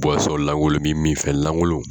langolon min minfɛn langolon.